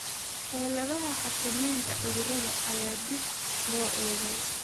Xeeladaha xakameynta cudurrada ayaa dib loo eegay.